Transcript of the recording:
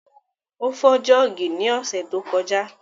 Ó fọ́ jọ́ọ̀gì ní ọ̀sẹ̀ tó kọjá